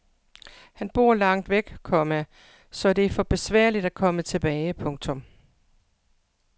Han bor langt væk, komma så det er for besværligt at komme tilbage. punktum